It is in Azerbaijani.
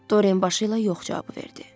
Dorian başı ilə yox cavabı verdi.